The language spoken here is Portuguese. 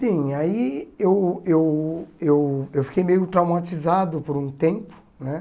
Sim, aí eu eu eu eu fiquei meio traumatizado por um tempo, né?